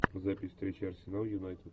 запись встречи арсенал юнайтед